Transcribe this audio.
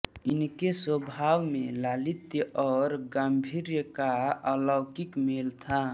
इनके स्वभाव में लालित्य और गांभीर्य का अलौकिक मेल था